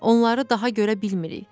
Onları daha görə bilmirik.